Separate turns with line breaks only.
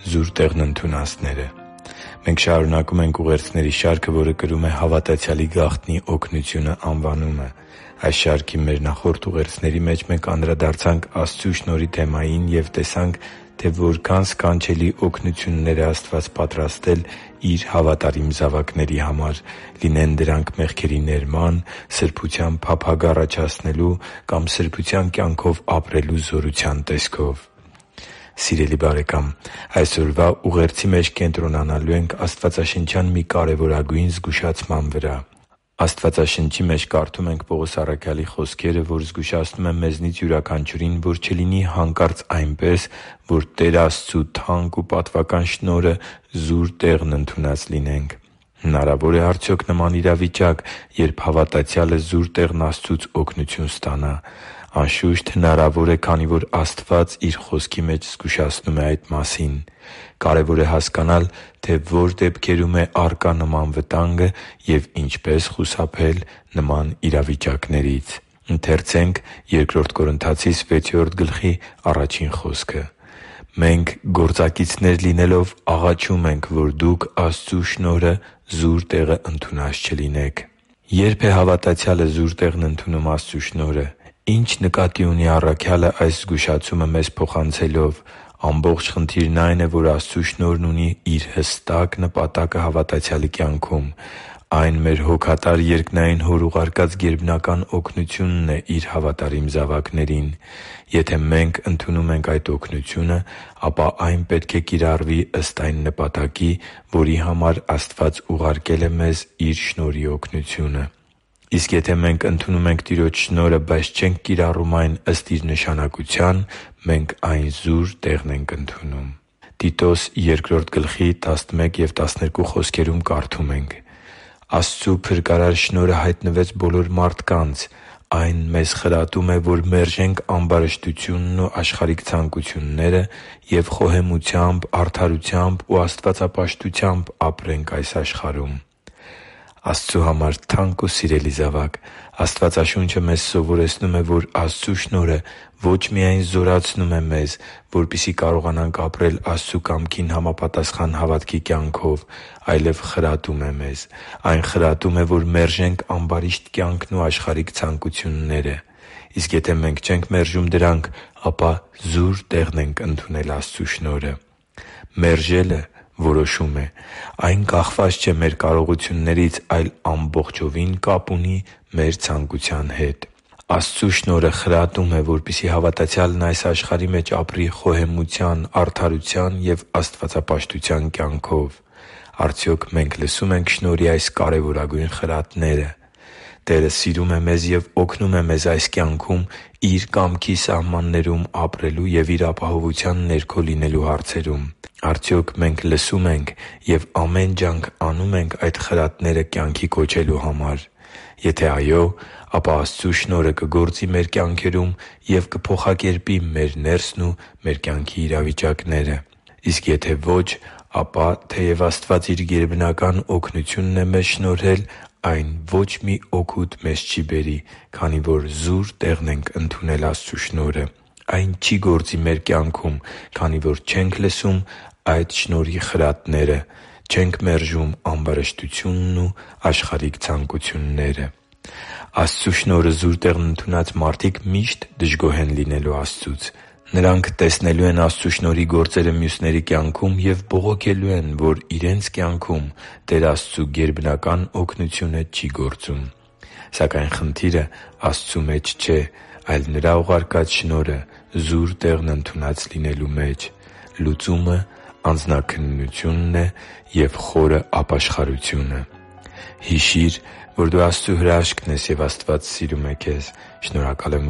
զուր տեղն ընդունածները Մենք շարունակում ենք ուղերձների շարքը, որը կրում է «Հավատացյալի գաղտնի օգնությունը» անվանումը։ Այս շարքի մեր նախորդ ուղերձների մեջ անդրադարձանք Աստծու շնորհի թեմային և տեսանք, թե որքան սքանչելի օգնություններ է Աստված պատրաստել Իր հավատարիմ զավակների համար՝ լինեն դրանք մեղքերի ներման, սրբության փափագ առաջացնելու կամ սրբության կյանքով ապրելու զորության տեսքով։ Սիրելի՛ բարեկամ, այսօրվա ուղերձի մեջ կենտրոնանալու ենք աստվածաշնչյան մի կարևորագույն զգուշացման վրա։ Աստծու Խոսքի մեջ կարդում ենք Պողոս առաքյալի խոսքերը, որը զգուշացնում է մեզնից յուրաքանչյուրին, որ չլինի հանկարծ այնպես, որ Տեր Աստծու թանկ ու պատվական շնորհը զուր տեղն ընդունած լինենք։ Հնարավո՞ր է արդյոք նման իրավիճակ, երբ հավատացյալը զուր տեղն Աստծուց օգնություն ստանա։ Անշուշտ, հնարավոր է, քանի որ Աստված Իր Խոսքի մեջ զգուշացնում է այդ մասին։ Կարևոր է հասկանալ, թե ո՞ր դեպքերում է առկա նման վտանգը և ինչպես խուսափել նման իրավիճակներից։ «Մենք, գործակիցներ լինելով, աղաչում ենք, որ դուք Աստծու շնորհը զուր տեղը ընդունած չլինեք» (Բ Կորնթացիս 6․1): Ե՞րբ է հավատացյալը զուր տեղն ընդունում Աստծու շնորհը։ Ի՞նչ նկատի ունի առաքյալը այս զգուշացումը մեզ փոխանցելով։ Ամբողջ խնդիրն այն է, որ Աստծու շնորհն ունի իր հստակ նպատակը հավատացյալի կյանքում։ Այն մեր հոգատար երկնային Հոր ուղարկած գերբնական օգնությունն է Իր հավատարիմ զավակներին։ Եթե մենք ընդունում ենք այդ օգնությունը, ապա այն պետք է կիրառվի ըստ այն նպատակի, որի համար Աստված ուղարկել է մեզ Իր շնորհի օգնությունը։ Իսկ եթե մենք ընդունում ենք Տիրոջ շնորհը, բայց չենք կիրառում այն ըստ իր նշանակության, մենք այն զուր տեղն ենք ընդունում։ «Աստծու փրկարար շնորհը հայտնվեց բոլոր մարդկանց. այն մեզ խրատում է, որ մերժենք ամբարշտությունն ու աշխարհիկ ցանկությունները և խոհեմությամբ, արդարությամբ ու աստվածապաշտությամբ ապրենք այս աշխարհում» (Տիտոս 2․11-12): Աստծու համար թանկ ու սիրելի՛ զավակ, Աստվածաշունչը սովորեցնում է, որ Աստծու շնորհը ո՛չ միայն զորացնում է մեզ, որպեսզի կարողանանք ապրել Աստծու կամքին համապատասխան հավատքի կյանքով, այլև խրատում է մեզ։ Այն խրատում է, որ մերժենք ամբարիշտ կյանքն ու աշխարհիկ ցանկությունները։ Եվ եթե մենք չենք մերժում դրանք, ապա զուր տեղն ենք ընդունել Աստծու շնորհը։ Մերժելը որոշում է։ Այն կախված չէ մեր կարողություններից, այլ ամբողջովին կապ ունի մեր ցանկության հետ։ Աստծու շնորհը խրատում է, որպեսզի հավատացյալն այս աշխարհի մեջ ապրի խոհեմության, արդարության և աստվածապաշտության կյանքով։ Արդյոք մենք լսո՞ւմ ենք շնորհի այս կարևորագույն խրատները։ Տերը սիրում է մեզ և օգնում է մեզ այս կյանքում Իր կամքի սահմաններում ապրելու և Իր ապահովության ներքո լինելու հարցում։ Արդյոք մենք լսո՞ւմ ենք և ամեն ջանք անո՞ւմ ենք այդ խրատները կյանքի կոչելու համար։ Եթե այո, ապա Աստծու շնորհը կգործի մեր կյանքերում և կփոխակերպի մեր ներսն ու կյանքի իրավիճակները։ Իսկ եթե ոչ, ապա, թեև Աստված Իր գերբնական օգնությունն է մեզ շնորհել, այն ո՛չ մի օգուտ մեզ չի բերի, քանի որ զուր տեղն ենք ընդունել Աստծու շնորհը։ Այն չի գործի մեր կյանքում, քանի որ չենք լսում այդ շնորհի խրատները՝ չենք մերժում ամբարշտությունն ու աշխարհիկ ցանկությունները։ Աստծու շնորհը զուր տեղն ընդունած մարդիկ միշտ դժգոհ են լինելու Աստծուց։ Նրանք տեսնելու են Աստծու շնորհի գործերը մյուսների կյանքում և բողոքելու են, որ իրենց կյանքում Տեր Աստծու գերբնական օգնությունը չի գործում։ Սակայն խնդիրը Աստծու մեջ չէ, այլ Նրա ուղարկած շնորհը զուր տեղն ընդունած լինելու մեջ։ Լուծումը անձնաքննությունն է և խորը ապաշխարությունը․․․ Հիշի՛ր, որ դու Աստծո հրաշքն ես, և Աստված սիրում է քեզ։ Շնորհակալ եմ,